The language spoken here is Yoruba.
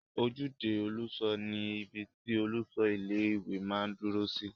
Ojúde olùṣọ ni ibi tí olùṣọ ilé-ìwé máa n dúró sí